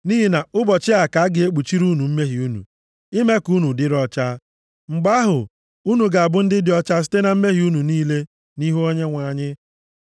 Nʼihi na nʼụbọchị a ka a na-ekpuchiri unu mmehie unu, ime ka unu dịrị ọcha. Mgbe ahụ, unu ga-abụ ndị dị ọcha site na mmehie unu niile nʼihu Onyenwe anyị.